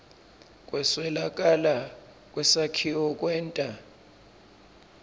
kweswelakala kwesakhiwo kwenta